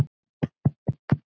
Hvað er svo fram undan?